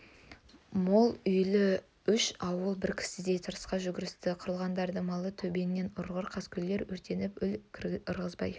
мол үйлі үш ауыл бір кісідей тысқа жүгірісті қырылғырдың малы төбеңнен ұрғыр қаскөйлер өртеніп өл ырғызбай